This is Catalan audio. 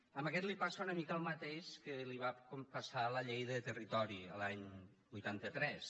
a aquest li passa una mica el mateix que li va passar a la llei de territori l’any vuitanta tres